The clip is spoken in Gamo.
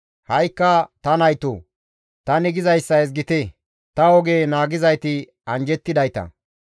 «Ha7ikka ta naytoo! Tani gizayssa ezgite; ta oge naagizayti anjjettidayta.